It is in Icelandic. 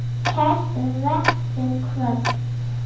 Kært vertu kvödd.